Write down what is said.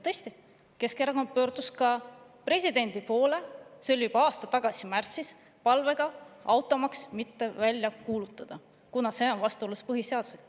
Tõesti, Keskerakond pöördus ka presidendi poole, see oli juba aasta tagasi märtsis, palvega jätta automaks välja kuulutamata, kuna see on vastuolus põhiseadusega.